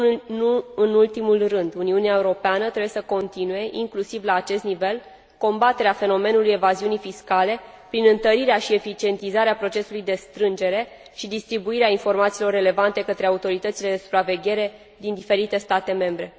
Nu în ultimul rând, Uniunea Europeană trebuie să continue, inclusiv la acest nivel, combaterea fenomenului evaziunii fiscale, prin întărirea și eficientizarea procesului de strângere și distribuire a informațiilor relevante către autoritățile de supraveghere din diferite state membre.